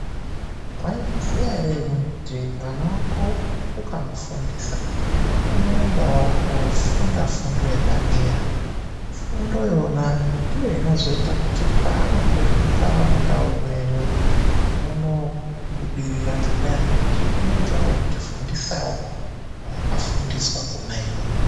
Mwaizviziya ere kuti mwana wako ukamufundisa unoendawo kofunda fundo yepadera. Fundo iyona ndiyo inozoita kuti paanopetuka, mundau menyu munobudirira ngendaa yekuti unenge otifundisawo zvaakafundiswa kona iyoyo.